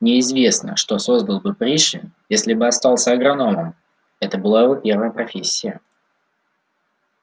неизвестно что создал бы пришвин если бы остался агрономом это была его первая профессия